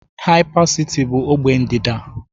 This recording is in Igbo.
Hypercity bụ ogbe ndịda.